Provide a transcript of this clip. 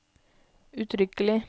uttrykkelig